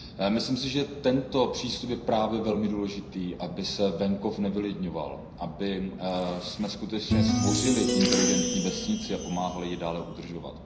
Myslím si, že tento přístup je právě velmi důležitý, aby se venkov nevylidňoval, abychom skutečně stvořili inteligentní vesnici a pomáhali ji dále udržovat.